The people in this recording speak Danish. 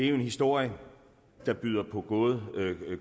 en historie der byder på både